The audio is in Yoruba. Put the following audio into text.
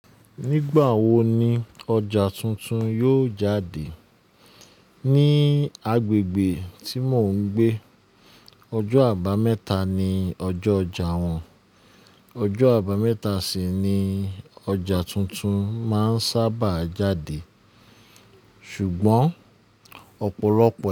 Nígbà wo ni ọjà tuntun yóò jáde? Ní agbègbè tí mò ń gbé, ọjọ́ àbámẹ́ta ni ọjọ́ ọjà wọn. Ọjọ́ àbámẹ́ta sì ni ọjà tuntun máa ń sábà jáde. Ṣùgbọ́n ọ̀pọ̀lọpọ̀